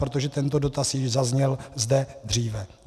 Protože tento dotaz již zazněl zde dříve.